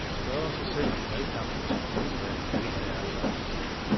Man spørger sig selv, om valgkampen til kommunalvalget allerede er startet.